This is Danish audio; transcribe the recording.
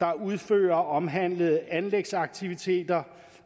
der udfører omhandlede anlægsaktiviteter